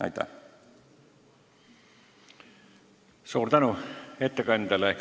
Suur tänu ettekandjale!